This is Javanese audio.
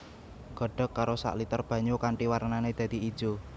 Godhog karo sak liter banyu kanthi warnané dadi ijo